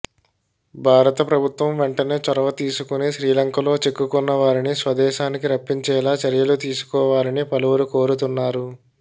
భారతప్రభుత్వం వెంటనే చొరవ తీసుకొని శ్రీలంకలో చిక్కుకొన్న వారిని స్వదేశానికి రప్పించేలా చర్యలు తీసుకోవాలని పలువురు కోరుతున్నారు